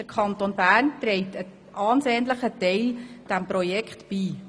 Der Kanton Bern steuert einen erheblichen Anteil zu diesem Projekt bei.